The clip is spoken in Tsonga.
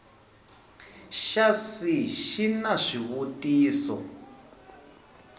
xa c xi na swivutiso